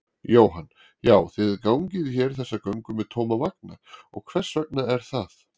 Jóhann: Já, þið gangið hér þessa göngu með tóma vagna, hvers vegna er það?